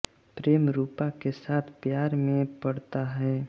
प्रेम रुपा के साथ प्यार में पड़ता है